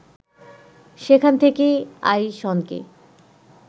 সেখান থেকেই আইসনকে